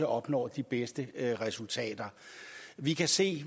opnår de bedste resultater vi kan se